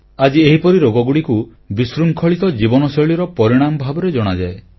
ଆଜି ଏହିପରି ରୋଗଗୁଡ଼ିକୁ ବିଶୃଙ୍ଖଳିତ ଜୀବନଶୈଳୀର ପରିଣାମ ଭାବରେ ଜଣାଯାଏ